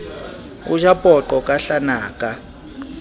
o ja poqo ka hlanaka